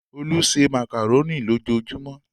Olú se màkàrónì lójujúmọ́